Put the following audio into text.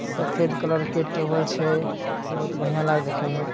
सफ़ेद कलर के टेबल छै बहुत बढ़िया लागे छै देखे में।